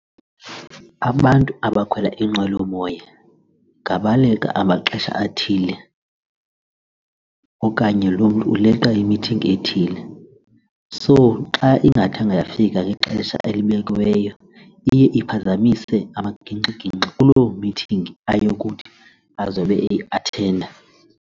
Abantu abakhwela inqwelomoya ngabaleqa amaxesha athile okanye loo mntu uleqa imithingi ethile. So xa ingathanga yafika kwixesha elibekiweyo iye iphazamise amagingxigingxi kulo mithingi ayokuthi azobe eyathenda.